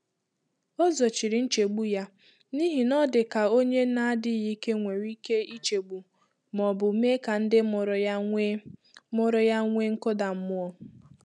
Ọ́ zòchírí nchégbu yá n’íhí nà ọ dị́ kà ónyé nà-ádị́ghị́ íké nwéré íké ìchégbú mà ọ bụ́ mèé kà ndị́ mụ́rụ̀ yá nwèé mụ́rụ̀ yá nwèé nkụ́dà mmụ́ọ.